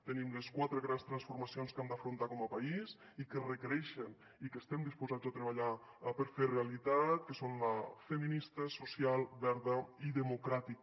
tenim les quatre grans transformacions que hem d’afrontar com a país i que requereixen i que estem disposats a treballar per fer realitat que són la feminista social verda i democràtica